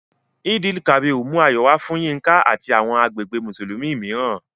Eid-el-Kabir mú ayọ̀ wá fún Yinka àti àwọn agbègbè Mùsùlùmí mìíràn